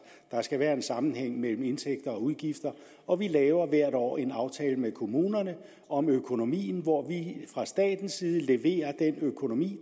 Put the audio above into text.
der skal være en sammenhæng mellem indtægter og udgifter og vi laver hvert år en aftale med kommunerne om økonomien hvor vi fra statens side leverer den økonomi